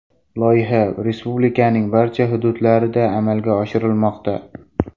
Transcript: Loyiha respublikaning barcha hududlarida amalga oshirilmoqda.